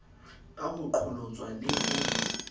ka ho qholotswa le ho